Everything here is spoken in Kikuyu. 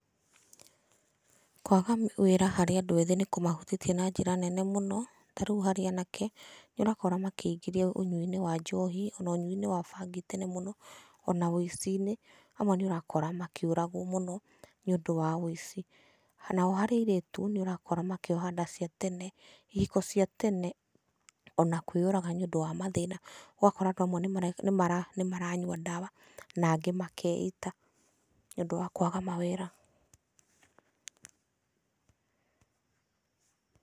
Kwaga wĩra harĩ andũ ethĩ nĩ kũmahutĩtie na njĩra nene mũno tarĩu harĩ anake, nĩ ũrakora makĩingĩria ũnyui-inĩ wa njohi na ũnyui-inĩ wa bangi tene mũno ona ũici-inĩ. Amwe nĩ ũrakora makĩũragwo mũno nĩ ũndũ wa ũici. Nao harĩ airĩtu nĩ ũrakora makĩoha nda ciatene ihiko cia tene ona kwĩyũraga nĩ ũndũ wa mathĩna ũgakora andũ amwe nĩ maranyua ndawa na angĩ makeita nĩ ũndũ wa kwaga mawĩra.